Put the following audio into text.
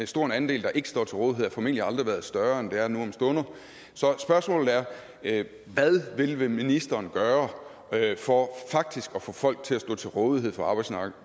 stor en andel der ikke står til rådighed har formentlig aldrig været større end det er nu om stunder så spørgsmålet er hvad vil vil ministeren gøre for faktisk at få folk til at stå til rådighed for arbejdsmarkedet